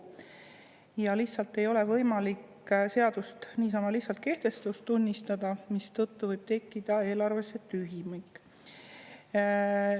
Ja lihtsalt ei ole võimalik seadust niisama lihtsalt kehtestuks tunnistada, mistõttu võib tekkida eelarvesse tühimik.